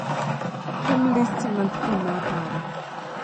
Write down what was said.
thum listi mar thum ma aparo